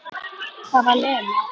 Það var Lena.